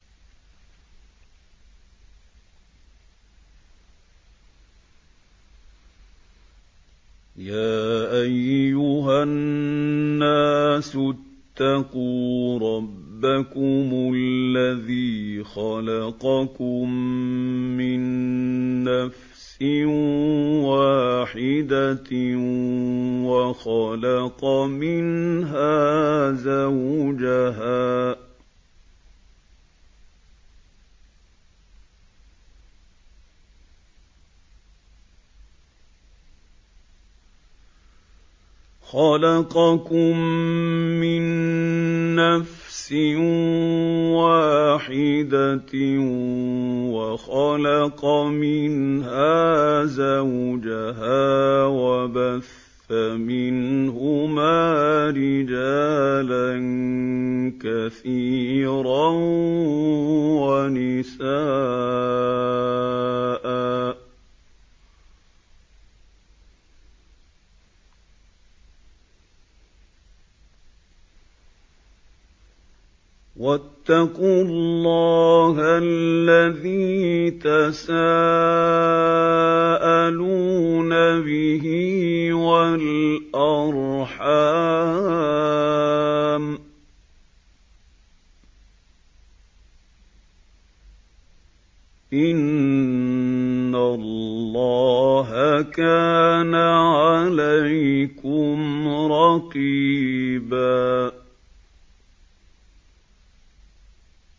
يَا أَيُّهَا النَّاسُ اتَّقُوا رَبَّكُمُ الَّذِي خَلَقَكُم مِّن نَّفْسٍ وَاحِدَةٍ وَخَلَقَ مِنْهَا زَوْجَهَا وَبَثَّ مِنْهُمَا رِجَالًا كَثِيرًا وَنِسَاءً ۚ وَاتَّقُوا اللَّهَ الَّذِي تَسَاءَلُونَ بِهِ وَالْأَرْحَامَ ۚ إِنَّ اللَّهَ كَانَ عَلَيْكُمْ رَقِيبًا